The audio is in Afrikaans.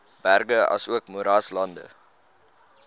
berge asook moeraslande